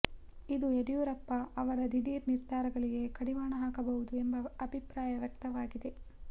ಇದು ಯಡಿಯೂರಪ್ಪ ಅವರ ದಿಢೀರ್ ನಿರ್ಧಾರಗಳಿಗೆ ಕಡಿವಾಣ ಹಾಕಬಹುದು ಎಂಬ ಅಭಿಪ್ರಾಯ ವ್ಯಕ್ತವಾಗಿದೆ